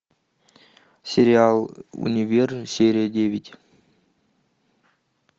сериал универ серия девять